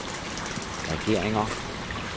regeringer